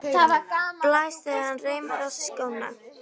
Blæs þegar hann reimar á sig skóna.